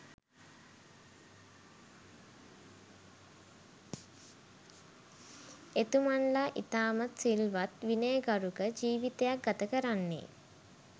එතුමන්ලා ඉතාමත් සිල්වත් විනයගරුක ජීවිතයක් ගතකරන්නේ